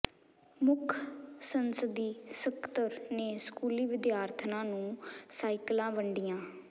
ਮੁੱਖ ਸੰਸਦੀ ਸਕੱਤਰ ਨੇ ਸਕੂਲੀ ਵਿਦਿਆਰਥਣਾਂ ਨੂੰ ਸਾਈਕਲਾਂ ਵੰਡੀਆਂ